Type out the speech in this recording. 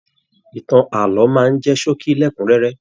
Ìtàn ààlọ́ máa n jẹ ṣókí lẹkunrẹrẹ.